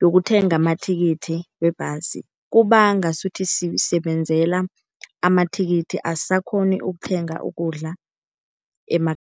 yokuthenga amathikithi webhasi. Kuba ngasuthi sisebenzela amathikithi, asisakghoni ukuthenga ukudla